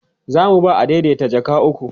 zamu ba adaidaita jaka ukwu